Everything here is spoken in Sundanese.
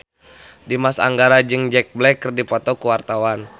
Dimas Anggara jeung Jack Black keur dipoto ku wartawan